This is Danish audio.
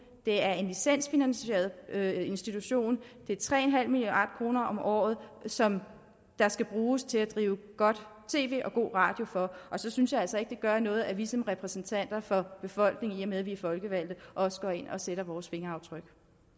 det er en licensfinansieret institution det er tre milliard kroner om året som der skal bruges til at drive godt tv og god radio for og så synes jeg altså ikke det gør noget at vi som repræsentanter for befolkningen i og med at vi er folkevalgte også går ind og sætter vores fingeraftryk